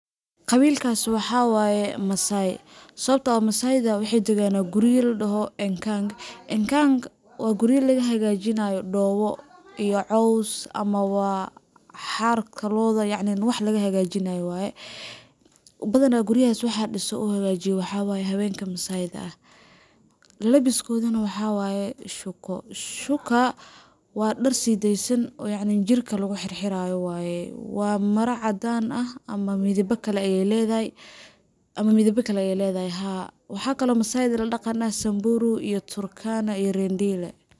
Qawilkaas waxa waye Massai, sawabtoo ah Massai da waxey daganaa guriya la dhaho enkank, enkank waa guriya laga hagajinayo dhoobo iyo caws ama wa xaarka looda yacni wax laga hagajinayo waaye. Badanaa guriyahas waxa dhiso oo hagaajiyo waxa waye haweenka Massai da ah ,labiskoodana waxa waye shuka shuka waa dhar sideysan oo yacni jirka lagu xirxiraayo waye ,waa mara caddan ah ama midaba kale ayey ledahay ama midaba kale ay ledahay ,haa. Waxaa kale oo Massai da la dhaqan ah ,Samburu iyo Turkana iyo Rendile.